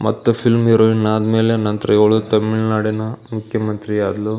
ಮತ್ತೆ film heroine ಆದಮೇಲೆ ನಂತ್ರ ಇವಳು ತಮಿಳ್ನಾಡಿನ ಮುಖ್ಯ ಮಂತ್ರಿ ಆದ್ಲು.